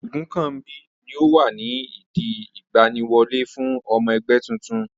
Ogunkanmbi ni ó wà ní ìdí ìgbaniwọlé fún ọmọ ẹgbẹ́ titun.